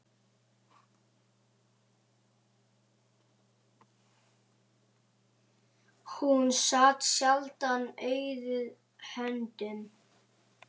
Hún sat sjaldan auðum höndum.